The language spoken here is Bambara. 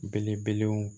Belebelew